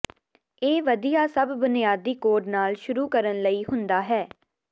ਇਹ ਵਧੀਆ ਸਭ ਬੁਨਿਆਦੀ ਕੋਡ ਨਾਲ ਸ਼ੁਰੂ ਕਰਨ ਲਈ ਹੁੰਦਾ ਹੈ